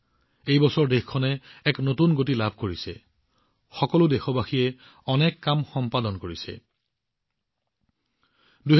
এই বছৰত দেশখনে এক নতুন গতি লাভ কৰিছে সকলো দেশবাসীয়ে পৰস্পৰে পৰস্পৰৰ তুলনাত ভাল প্ৰদৰ্শন কৰিছে